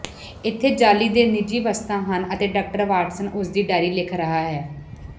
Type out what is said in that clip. ਇੱਥੇ ਜਾਅਲੀ ਦੇ ਨਿਜੀ ਵਸਤਾਂ ਹਨ ਅਤੇ ਡਾਕਟਰ ਵਾਟਸਨ ਉਸਦੀ ਡਾਇਰੀ ਲਿਖ ਰਿਹਾ ਹੈ